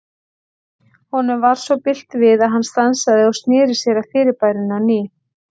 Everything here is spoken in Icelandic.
Honum varð svo bilt við að hann stansaði og sneri sér að fyrirbærinu á ný.